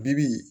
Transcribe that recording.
Bi bi in